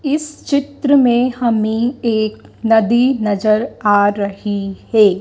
इस चित्र में हमें एक नदी नजर आ रही है।